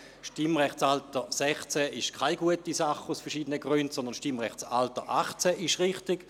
«Das Stimmrechtsalter 16 ist aus verschiedenen Gründen keine gute Sache, sondern das Stimmrechtsalter 18 ist richtig.